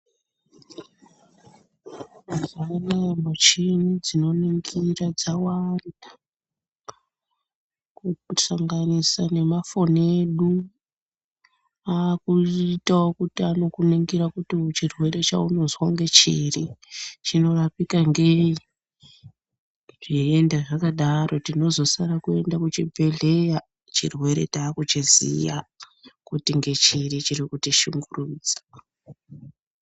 Mazuwa anaya michini dzinoningira dzawanda kusanganisa nemafoni edu aakuitawo kuti anokuningira kuti chirwere chaunonozwa ngechiri chinorapika ngei zveienda zvakadaro tinozosare kuende kuchibhehleya chirwere taakuchiziya kuti ngechiri chiri kutishungurudza.